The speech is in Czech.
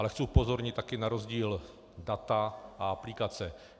Ale chci upozornit také na rozdíl data a aplikace.